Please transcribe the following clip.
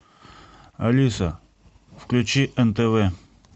алиса включи нтв